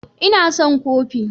Ina son kofi